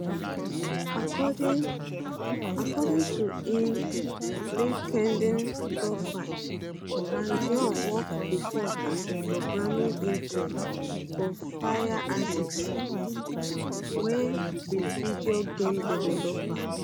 according according to im linkedin profile mangione work bifor as a programming intern for firaxis wey be video game developer